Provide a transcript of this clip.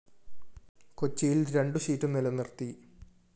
കൊച്ചിയിൽ രണ്ടു സീറ്റു നിലനിർത്തി